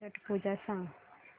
छट पूजा सांग